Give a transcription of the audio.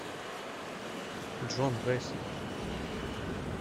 джон грейсон